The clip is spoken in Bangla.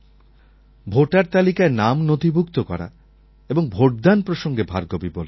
ভোটার তালিকায় নাম নথিভূক্ত করা এবং ভোটদান প্রসঙ্গে ভার্গবী বলেছেন